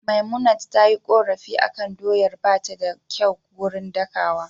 Memunant tayi korafi akan doyar bata kyau gurin dakawa